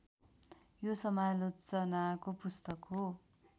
यो समालोचनाको पुस्तक हो